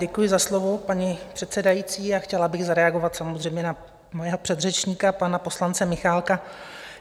Děkuji za slovo, paní předsedající, a chtěla bych zareagovat samozřejmě na svého předřečníka, pana poslance Michálka.